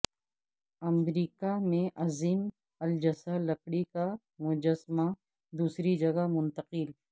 امریکہ میں عظیم الجثہ لکڑی کا مجسمہ دوسری جگہ منتقل